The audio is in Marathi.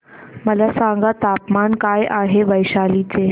मला सांगा तापमान काय आहे वैशाली चे